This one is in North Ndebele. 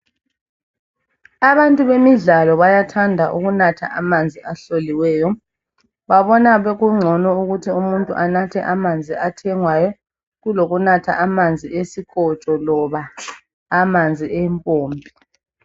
Abantu bemidlalo bayathanda ukunatha amanzi ahloliweyo. Babona kungcono ukuthi umuntu anathe amanzi athengwayo kulokunatha amanzi esikotsho loba amanzi empompi.